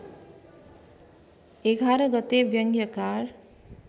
११ गते व्यङ्ग्यकार